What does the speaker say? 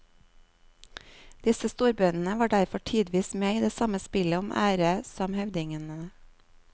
Disse storbøndene var derfor tidvis med i det samme spillet om ære som høvdingene.